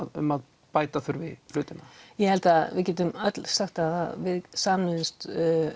um að bæta þurfi hlutina ég held að við getum öll sagt að við sameinuðumst